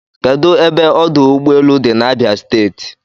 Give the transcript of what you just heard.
Kedụ ebe ọdụ ụgbọelu dị n'Abia steeti?